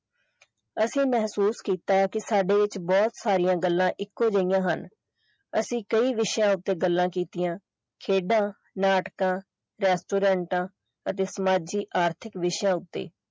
ਅਸੀਂ ਮਹਿਸੂਸ ਕੀਤਾ ਕਿ ਸਾਡੇ ਵਿੱਚ ਬਹੁਤ ਸਾਰੀਆਂ ਗੱਲਾਂ ਇੱਕੋ ਜਿਹੀਆਂ ਹਨ ਅਸੀਂ ਕਈ ਵਿਸ਼ਿਆਂ ਉੱਤੇ ਗੱਲਾਂ ਕੀਤੀਆਂ ਖੇਡਾਂ ਨਾਟਕਾਂ ਰੈਸਟੋਰੈਂਟਾਂ ਅਤੇ ਸਮਾਜਿਕ ਆਰਥਿਕ ਵਿਸ਼ਿਆਂ ਉੱਤੇ।